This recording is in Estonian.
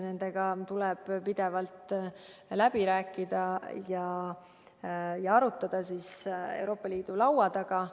Nendega tuleb pidevalt läbi rääkida ja arutada asju Euroopa Liidu laua taga.